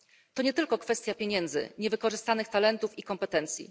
To nie tylko kwestia pieniędzy, niewykorzystanych talentów i kompetencji.